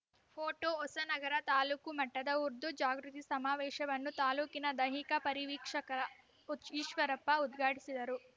photo Hosanagara taluk ಮಟ್ಟದ ಉರ್ದು ಜಾಗೃತಿ ಸಮಾವೇಶವನ್ನು ತಾಲೂಕಿನ ದೈಹಿಕ ಪರಿವೀಕ್ಷಕರ ಈಶ್ವರಪ್ಪ ಉದ್ಘಾಟಿಸಿದರು